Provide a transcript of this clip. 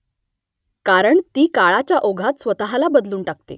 कारण ती काळाच्या ओघात स्वतःला बदलून टाकते